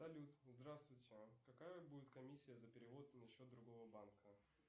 салют здравствуйте какая будет комиссия за перевод на счет другого банка